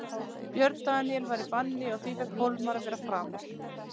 Björn Daníel var í banni og því fékk Hólmar að vera framar.